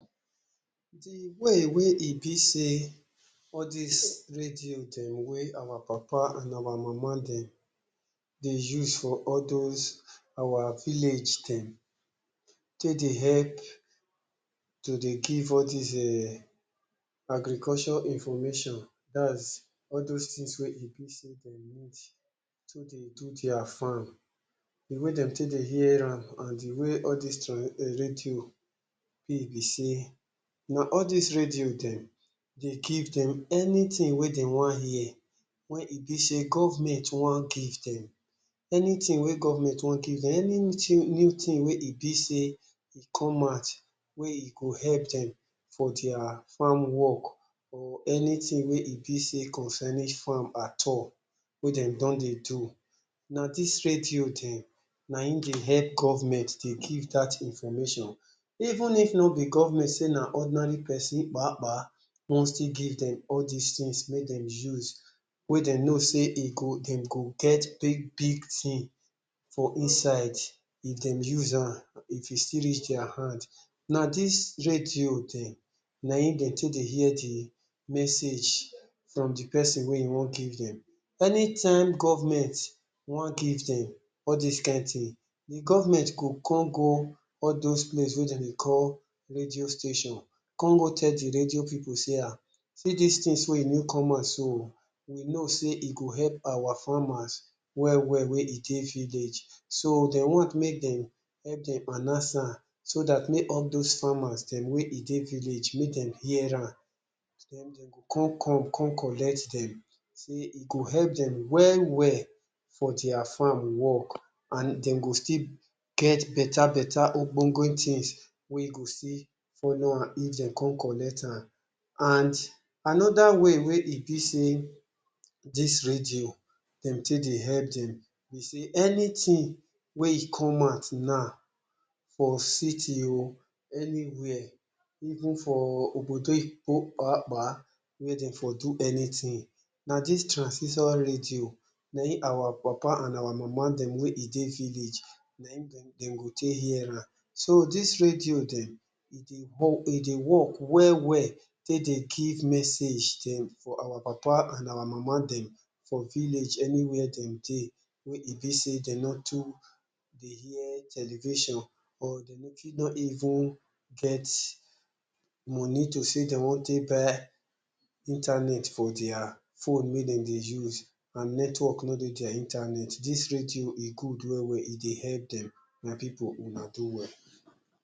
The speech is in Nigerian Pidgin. De way wey e be sey all dis radio dem wey our papa and our mama dem dey use for all those our village dem take dey help to dey give all these um agriculture information, dat’s all those things wey e be sey dem need to dey do their farm, de way dem take dey hear am and de way all these radio be be sey, na all these radio dem dey give dem anything wey dem want hear, wey e be sey government want give dem,. Anytin wey government want give dem, anything new thing wey e be sey e come out wey e go help dem for their farm work or anything wey e be sey concerning farm at all wey dem don dey do, na dis radio dem na im dey help government dey give dat information. Even if no be government sey na ordinary person pa pa want still give dem all dis things wey dem use, wey dem know sey e go dem go get big big thing for inside if dem use am, if e still reach their hand, na dis radio dem na im dem take dey hear de message from de person wey want give dem. Anytime government want give dem all dis kind thing, de government go come go all dose place wey dem dey call Radio Station, come go tell de radio pipu sey um, sey see dis things wey e don come out so o, we know sey e go help our farmers well well wey e dey village. So, dem want make dem help dem announce am so dat make all dose farmers dem wey e dey village make dem hear am. Den, dem go come come come collect dem, sey e go help dem well well for their farm work, and dem go still get better better ogbonge things wey go still follow am if dem come collect am. And another way wey e be sey dis radio dem take dey help dem be sey, anything wey e come out now for city o, anywhere, even for obodo oyinbo pa pa wey dem for do anything, na dis transmitter radio na im our papa and our mama dem wey e dey village, na im dem dey dem go take hear am. So, dis radio dem e dey, e dey work well well take dey give message dem for our papa and our mama dem for village, anywhere dem dey, wey e be sey dem no too dey hear television or dem no fit no even get money to sey dem want take buy internet for their phone wey dem dey use, and network no dey their internet. Dis radio e good well well. E dey help dem. My pipu, una do well.